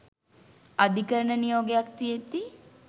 අධිකරණ නියෝගයක් තියෙද්දී